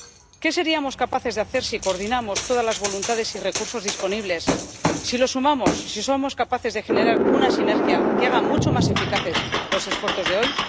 ¿Qué seríamos capaces de hacer si coordinamos todas las voluntades y recursos disponibles, si los sumamos, si somos capaces de generar una sinergia que haga mucho más eficaces los esfuerzos de hoy?